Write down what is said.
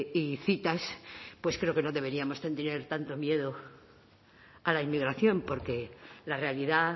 y citas pues creo que no deberíamos tener tanto miedo a la inmigración porque la realidad